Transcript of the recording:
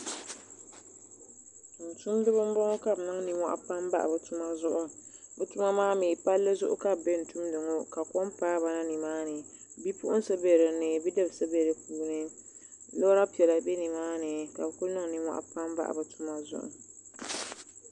Tumtumdiba n bɔŋɔ kabɛ nin ninmɔhi n bahi bɛ tuma zuɣu.bɛ tuma maami pallizuɣu kabi be n tumdi maa ka kom paaba na nimaa ni bipuɣinsi be nimaani bidibisi be bi puuni. lɔra piɛla be nimaani kabi kuni nimmohi n bahi bitima maa zuɣu